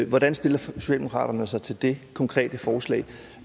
hvordan stiller socialdemokratiet sig til det konkrete forslag